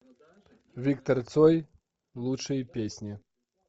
виктор цой лучшие песни